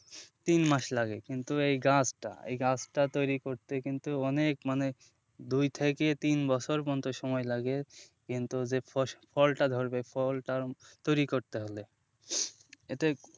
তিন মাস লাগে কিন্তু এই গাছটা এই গাছটা তৈরি করতে কিন্তু অনেক মানে দুই থেকে তিন বছর পর্যন্ত সময় লাগে কিন্তু যে ফলটা ধরবে ফলটা তৈরি করতে হল এতে,